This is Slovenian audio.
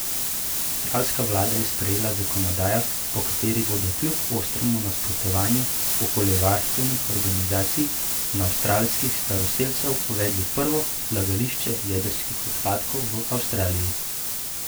Avstralska vlada je sprejela zakonodajo, po kateri bodo, kljub ostremu nasprotovanju okoljevarstvenih organizacij in avstralskih staroselcev, uvedli prvo odlagališče jedrskih odpadkov v Avstraliji.